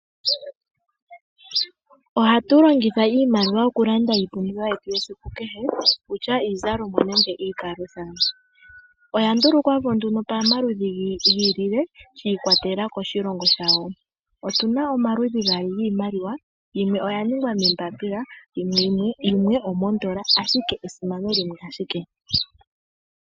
Ohatu longitha iimaliwa okulanda iipumbiwa yetu yesiku kehe ngaashi iizalomwa oshowo iipalutha. Oya ndulukwapo pamaludhi ga yooloka giikwatelela koshilongo shawo. Otu na omaludhi gaali giimaliwa yimwe oya ningwa moombapila nayimwe oondola ashike esimano limwe ashike.